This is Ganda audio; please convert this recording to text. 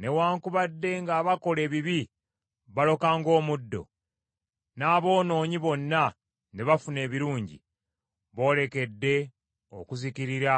newaakubadde ng’abakola ebibi baloka ng’omuddo, n’aboonoonyi bonna ne bafuna ebirungi, boolekedde okuzikirira